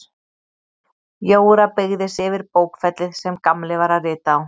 Jóra beygði sig yfir bókfellið sem Gamli var að rita á.